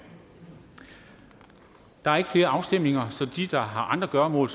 der er ikke flere afstemninger så de der har andre gøremål